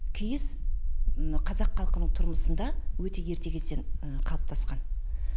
киіз мына қазақ халқының тұрмысында өте ерте кезден қалыптасқан